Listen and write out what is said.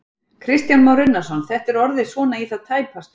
Kristján Már Unnarsson: Þetta er orðið svona í það tæpasta?